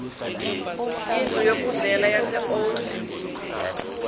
indlu yokudlela yaseold